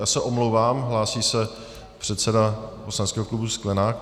Já se omlouvám, hlásí se předseda poslaneckého klubu Sklenák.